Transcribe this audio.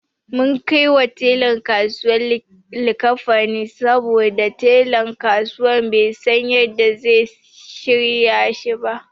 Mun kaiwa telan kasuwa likkafanin saboda telan kusan bai san yanda zai shirya shi ba.